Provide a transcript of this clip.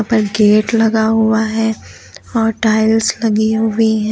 ऊपर गेट लगा हुआ है और टाइल्स लगी हुई हैं।